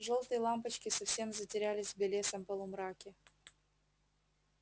жёлтые лампочки совсем затерялись в белесом полумраке